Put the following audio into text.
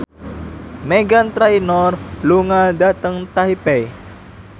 Meghan Trainor lunga dhateng Taipei